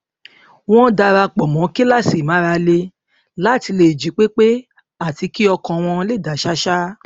wọn dara pọ mọ kíláàsì ìmárale láti lè jí pé pé àti kí ọkàn wọn lè dá ṣáṣá